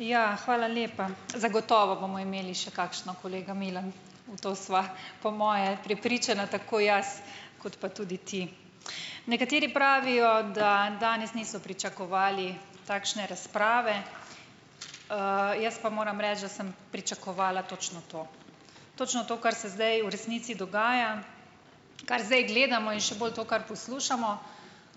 Ja, hvala lepa. Zagotovo bomo imeli še kakšno, kolega Milan, v to sva po moje prepričana tako jaz kot pa tudi ti. Nekateri pravijo, da danes niso pričakovali takšne razprave. Jaz pa moram reči, da sem pričakovala točno to, točno to, kar se zdaj v resnici dogaja, kar zdaj gledamo, in še bolj to, kar poslušamo.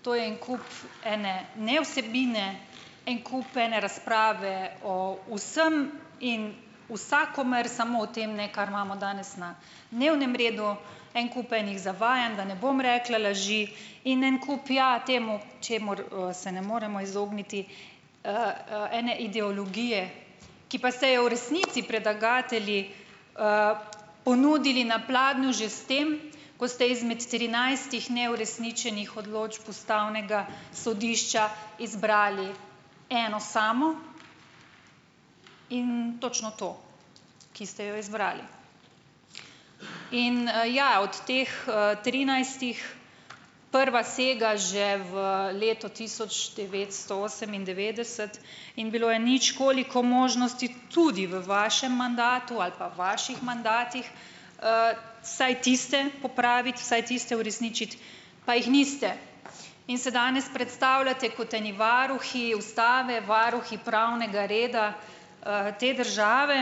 To je en kup ene nevsebine, en kup ene razprave o vsem in vsakomer, samo o tem ne, kar imamo danes na dnevnem redu, en kup enih zavajanj, da ne bom rekla laži, in en kup, ja, temu, čemur, se ne moremo izogniti, ene ideologije, ki pa ste jo v resnici predlagatelji, ponudili na pladnju že s tem, ko ste izmed trinajstih neuresničenih odločb ustavnega sodišča izbrali eno samo in točno to, ki ste jo izbrali. In, ja, od teh, trinajstih, prva sega že v leto tisoč devetsto osemindevetdeset in bilo je nič koliko možnosti tudi v vašem mandatu ali pa vaših mandatih, vsaj tiste popraviti, vsaj tiste uresničiti, pa jih niste, in se danes predstavljate kot eni varuhi ustave, varuhi pravnega reda, te države,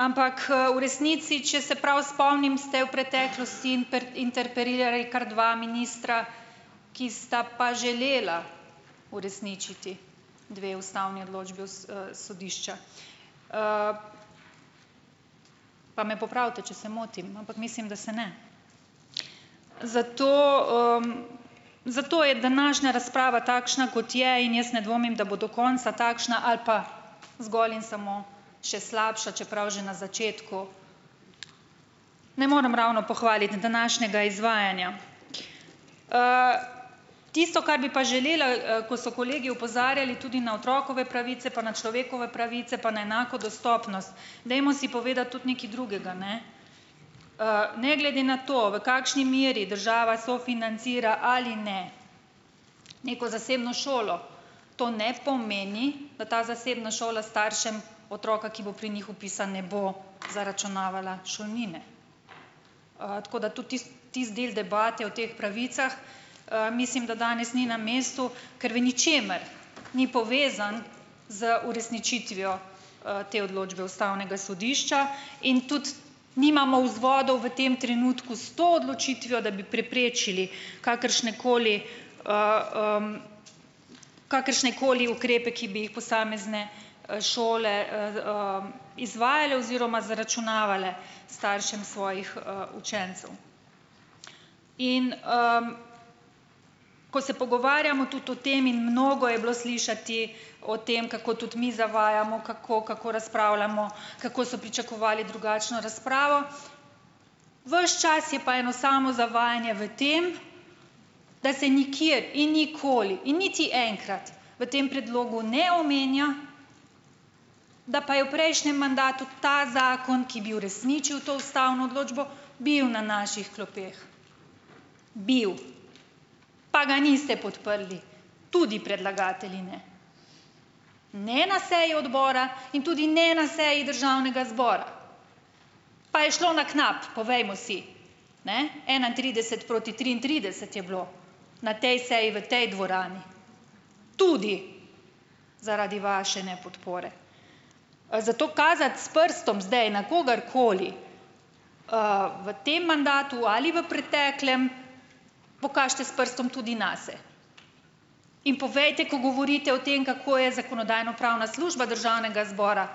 ampak, v resnici, če se prav spomnim, ste v preteklosti interpelirali kar dva ministra, ki sta pa želela uresničiti dve ustavni odločbi sodišča. Pa me popravite, če se motim, ampak mislim, da se ne. Zato, zato je današnja razprava takšna, kot je. In jaz ne dvomim, da bo do konca takšna ali pa zgolj in samo še slabša, čeprav že na začetku ne morem ravno pohvaliti današnjega izvajanja. Tisto, kar bi pa želela, ko so kolegi opozarjali tudi na otrokove pravice, pa na človekove pravice, pa na enako dostopnost, dajmo si povedati tudi nekaj drugega, ne. Ne glede na to, v kakšni meri država sofinancira ali ne neko zasebno šolo, to ne pomeni, da ta zasebna šola staršem otroka, ki bo pri njih vpisan, ne bo zaračunavala šolnine. Tako da tudi tisti, tisti del debate o teh pravicah, mislim, da danes ni na mestu, ker v ničemer ni povezan z uresničitvijo, te odločbe ustavnega sodišča in tudi nimamo vzvodov v tem trenutku s to odločitvijo, da bi preprečili kakršnekoli, kakršnekoli ukrepe, ki bi jih posamezne, šole, izvajale oziroma zaračunavale staršem svojih, učencev. In, ko se pogovarjamo tudi o tem, in mnogo je bilo slišati o tem, kako tudi mi zavajamo, kako kako razpravljamo, kako so pričakovali drugačno razpravo. Ves čas je pa eno samo zavajanje v tem, da se nikjer in nikoli in niti enkrat v tem predlogu ne omenja, da pa je v prejšnjem mandatu ta zakon, ki bi uresničil to ustavno odločbo, bil na naših klopeh, bil, pa ga niste podprli, tudi predlagatelji ne, ne na seji odbora in tudi ne na seji državnega zbora. Pa je šlo na knap, povejmo si, ne, enaintrideset proti triintrideset je bilo na tej seji v tej dvorani, tudi zaradi vaše nepodpore. Zato kazati s prstom zdaj na kogarkoli, v tem mandatu ali v preteklem, pokažite s prstom tudi nase in povejte, ko govorite o tem, kako je zakonodajno-pravna služba državnega zbora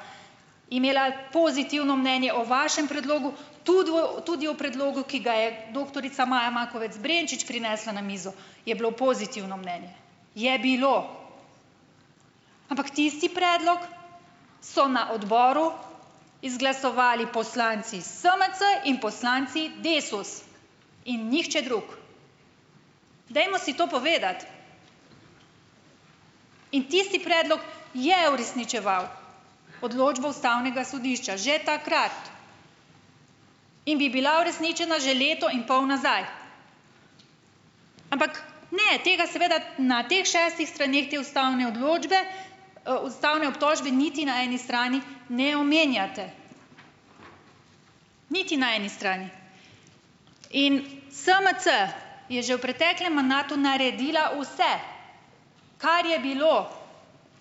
imela pozitivno mnenje o vašem predlogu, tudi o, tudi o predlogu, ki ga je doktorica Maja Makovec Brenčič prinesla na mizo, je bilo pozitivno mnenje, je bilo. Ampak tisti predlog so na odboru izglasovali poslanci SMC in poslanci Desus in nihče drug. Dajmo si to povedati! In tisti predlog je uresničeval odločbo ustavnega sodišča, že takrat, in bi bila uresničena že leto in pol nazaj. Ampak ne, tega seveda na teh šestih straneh te ustavne odločbe, ustavne obtožbe niti na eni strani ne omenjate, niti na eni strani. In SMC je že v preteklem mandatu naredila vse, kar je bilo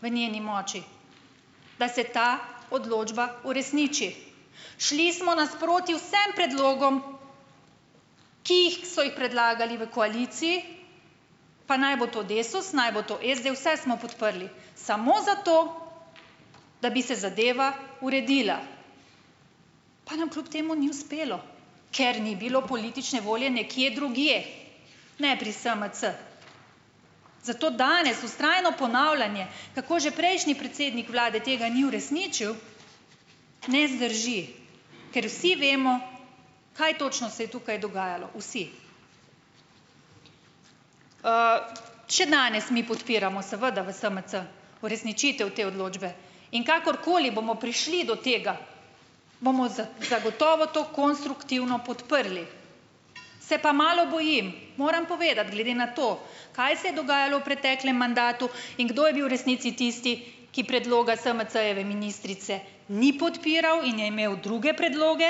v njeni moči, da se ta odločba uresniči. Šli smo nasproti vsem predlogom, ki jih so jih predlagali v koaliciji, pa naj bo to Desus, naj bo to SD, vse smo podprli, samo zato, da bi se zadeva uredila. Pa nam kljub temu ni uspelo, ker ni bilo politične volje nekje drugje, ne pri SMC. Zato danes vztrajno ponavljanje, kako že prejšnji predsednik vlade tega ni uresničil, ne zdrži, ker vsi vemo, kaj točno se je tukaj dogajalo, vsi. Še danes mi podpiramo, seveda v SMC, uresničitev te odločbe. In kakorkoli bomo prišli do tega, bomo zagotovo to konstruktivno podprli. Se pa malo bojim, moram povedati, glede na to, kaj se je dogajalo v preteklem mandatu in kdo je bil v resnici tisti, ki predloga SMC-jeve ministrice ni podpiral in je imel druge predloge,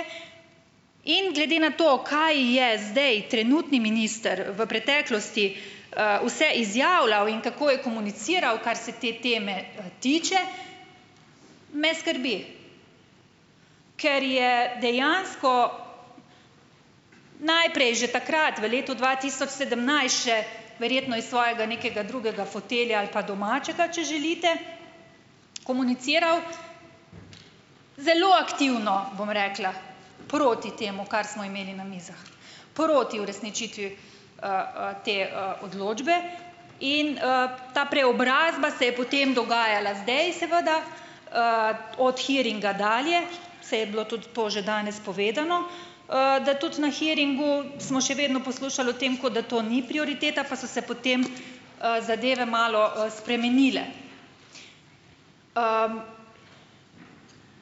in glede na to, kaj je zdaj trenutni minister v preteklosti, vse izjavljal in kako je komuniciral, kar se te teme, tiče, me skrbi. Ker je dejansko najprej že takrat v letu dva tisoč sedemnajst še, verjetno iz svojega nekega drugega fotelja ali pa domačega, če želite, komuniciral zelo aktivno, bom rekla, proti temu, kar smo imeli na mizah, proti uresničitvi, te, odločbe. In, ta preobrazba se je potem dogajala zdaj seveda, od "hearinga" dalje, saj je bilo tudi to že danes povedano, da tudi na "hearingu" smo še vedno poslušali o tem, kot da to ni prioriteta, pa so se potem, zadeve malo, spremenile.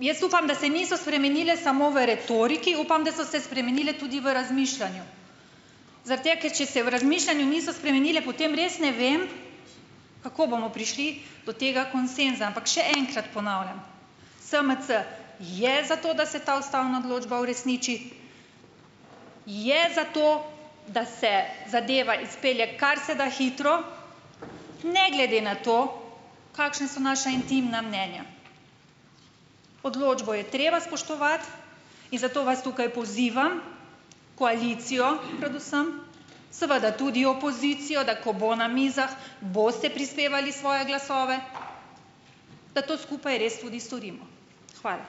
Jaz upam, da se niso spremenile samo v retoriki, upam, da so se spremenile tudi v razmišljanju. Zaradi tega, ker če se v razmišljanju niso spremenile, potem res ne vem, kako bomo prišli do tega konsenza. Ampak še enkrat ponavljam, SMC je za to, da se ta ustavna odločba uresniči, je za to, da se zadeva izpelje kar se da hitro, ne glede na to, kakšna so naša intimna mnenja. Odločbo je treba spoštovati. In zato vas tukaj pozivam, koalicijo predvsem, seveda tudi opozicijo, da ko bo na mizah, boste prispevali svoje glasove, da to skupaj res tudi storimo. Hvala.